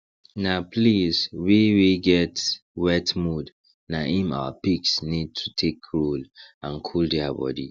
na place wey wey get wet mud na im our pigs need to take roll and cool dia body